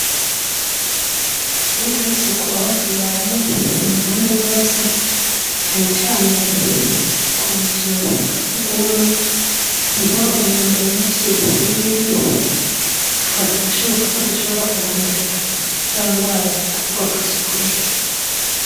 Twiteho isuku aho tubaye mu mpande zose canecane ku buzuga seugumwe ni ho imyanda myinshi ibiri tukabigashoboka ko dushobora kuhandurira za ngwara zituruka kw'isuku rike.